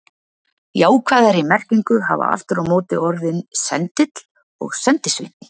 Jákvæðari merkingu hafa aftur á móti orðin sendill og sendisveinn.